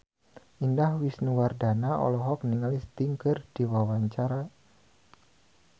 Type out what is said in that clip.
Indah Wisnuwardana olohok ningali Sting keur diwawancara